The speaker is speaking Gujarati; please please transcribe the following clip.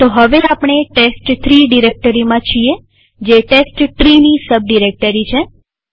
તો હવે આપણે ટેસ્ટ3 ડિરેક્ટરીમાં છીએ જે testtreeની સબ ડિરેક્ટરી છે